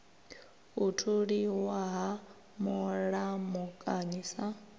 u tholiwa ha mulamukanyi sa